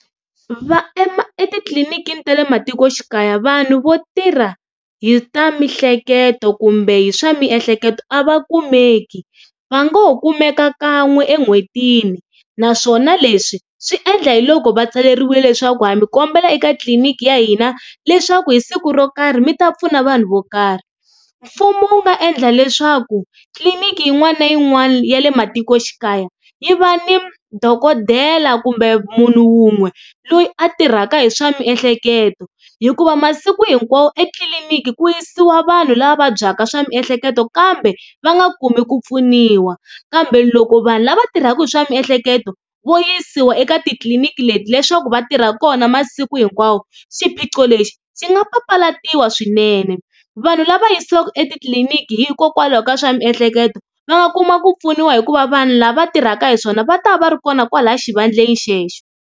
etitliliniki ta le matikoxikaya vanhu vo tirha hi ta mihleketo kumbe hi swa miehleketo a va kumeki va ngo ho kumeka kan'we en'hwetini naswona leswi swi endla hi loko va tsaleriwini leswaku ha mi kombela eka tliliniki ya hina leswaku hi siku ro karhi mi ta pfuna vanhu vo karhi. Mfumo wu nga endla leswaku tliliniki yin'wana na yin'wana ya le matikoxikaya yi va ni dokodela kumbe munhu wun'we loyi a tirhaka hi swa miehleketo hikuva masiku hinkwawo etliliniki ku yisiwa vanhu lava vabyaka swa miehleketo kambe va nga kumi ku pfuniwa kambe loko vanhu lava tirhaka hi swa miehleketo vo yisiwa eka titliliniki leti leswaku va tirha kona masiku hinkwawo xiphiqo lexi xi nga papalatiwa swinene vanhu lava yisiwaka etitliliniki hikokwalaho ka swa miehleketo va nga kuma ku pfuniwa hikuva vanhu lava tirhaka hi swona va ta va ri kona kwalaya xivandleni xexo.